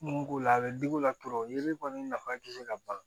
Mun k'o la a bɛ digi o la tɔrɔ yiri kɔni nafa tɛ se ka ban